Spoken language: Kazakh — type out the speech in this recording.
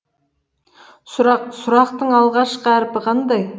сұрақ сұрақтың алғашқы әрпі қандай